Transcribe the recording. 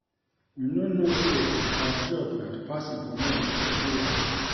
You no know say our job na to pass information to everyone